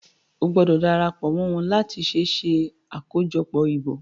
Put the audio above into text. O gbọdọ darapo mọ wón là tí ṣe ṣe akojọpọ ìbò!